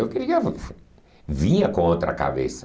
Eu queria... Vinha com outra cabeça.